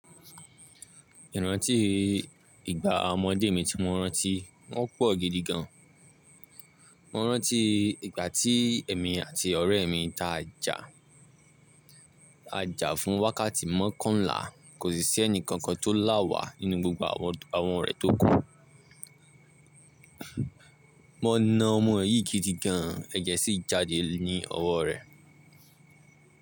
Ìrántí ìgbà ọmọdé mi tí mo rántí wọ́n pọ̀ gidi gan an. Mo rántí ìgbà tí èmi àti ọ̀rẹ́ mi ta a ja, a ja fún wákàtí mọ́kànlá, kò sì sí ẹni kankan tó lá wà nínú gbogbo àwọn orẹ̀ tó kù. Mo na ọmọ yìí gidi gan an, ẹ̀jẹ̀ sì jáde ní ọwọ́ rẹ̀.